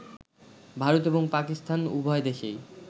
ভারত এবং পাকিস্তান উভয় দেশেই